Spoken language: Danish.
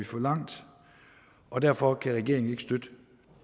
for langt og derfor kan regeringen ikke støtte